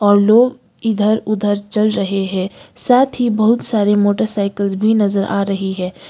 और लोग इधर उधर चल रहे हैं साथ ही बहुत सारे मोटरसाइकल्स भी नजर आ रही है।